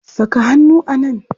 Saka hannu a nan!